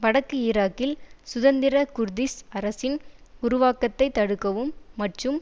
வடக்கு ஈராக்கில் சுதந்திர குர்திஷ் அரசின் உருவாக்கத்தை தடுக்கவும் மற்றும்